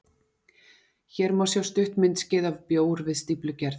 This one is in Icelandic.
Hér má sjá stutt myndskeið af bjór við stíflugerð.